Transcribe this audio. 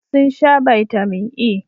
Sun sha Bitamin E